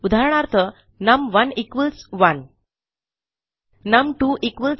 उदाहरणार्थ नम1 1 नम2 2